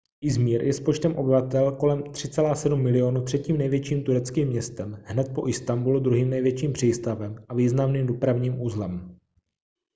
izmir je s počtem obyvatel kolem 3,7 milionu třetím největším tureckým městem hned po istanbulu druhým největším přístavem a významným dopravním uzlem